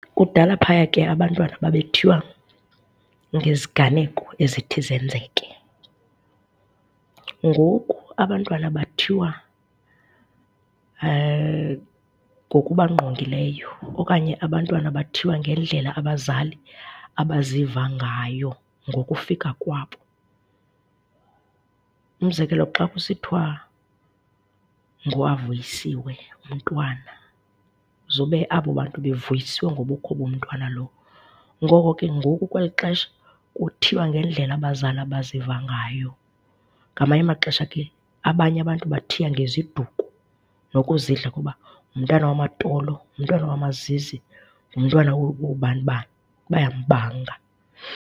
Kudala phaya ke abantwana babethiywa ngeziganeko ezithi zenzeke. Ngoku abantwana bathiywa ngokubangqongileyo okanye abantwana bathiywa ngendlela abazali abaziva ngayo ngokufika kwabo. Umzekelo, xa kusithiwa nguAvuyisiwe umntwana, zube abo bantu bevuyiswe ngobukho bomntwana lowo. Ngoko ke ngoku kweli xesha kuthiywa ngendlela abazali abaziva ngayo. Ngamanye amaxesha ke abanye abantu bathiya ngeziduko nokuzidla ukuba ngumntana wamaTolo, ngumntwana wamaZizi, ngumntwana woobani bani, bayambanga.